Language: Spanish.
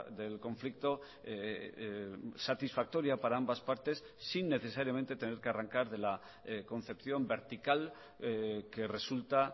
del conflicto satisfactoria para ambas partes sin necesariamente tener que arrancar de la concepción vertical que resulta